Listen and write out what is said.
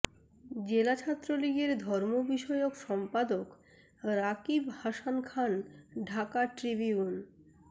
জেলা ছাত্রলীগের ধর্ম বিষয়ক সম্পাদক রাকিব হাসান খান ঢাকা ট্রিবিউন